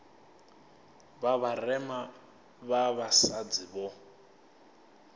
vha vharema vha vhasadzi vho